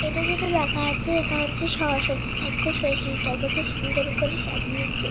এটা যেটা দেখা যাচ্ছে এটা হচ্ছে সরস্বতী ঠাকুর। সরস্বতী ঠাকুরকে সুন্দর করে সাজিয়েছে।